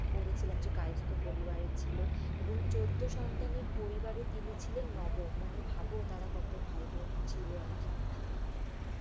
পড়েছিলাম যে, কায়েস্ত পরিবারের ছিল। এবং চৌদ্দ সন্তানের পরিবারে তিনি ছিলেন নবম। মানি ভাবো তারা কত ভাই বোন ছিল আর কি?